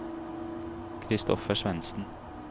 Christopher Svensen